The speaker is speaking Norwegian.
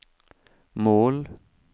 mål